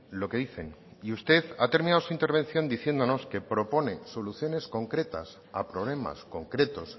lo que dicen y usted ha terminado su intervención diciéndonos que propone soluciones concretas a problemas concretos